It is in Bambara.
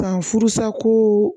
San furusako